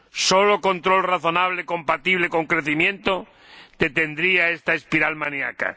Solo un control razonable, compatible con el crecimiento, detendría esta espiral maníaca.